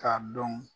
K'a dɔn